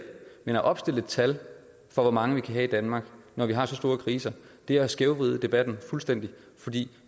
men at opstille et tal for hvor mange vi kan have i danmark når vi har så store kriser er at skævvride debatten fuldstændig